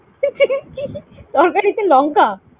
তরকারিতে লঙ্কা